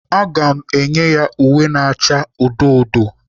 Aga m enye ya uwe na-acha odo odo.